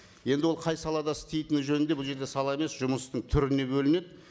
енді ол қай салада істейтіні жөнінде бұл жерде сала емес жұмыстың түріне бөлінеді